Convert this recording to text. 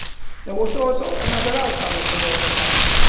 There was also another outcome of the Malta summit.